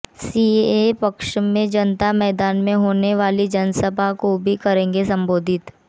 CAA के पक्ष में जनता मैदान में होने वाली जनसभा को भी करेंगे संबोधित